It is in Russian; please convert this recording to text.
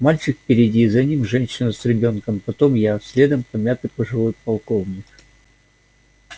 мальчик впереди за ним женщина с ребёнком потом я следом помятый пожилой полковник